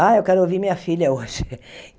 Ah, eu quero ouvir minha filha hoje.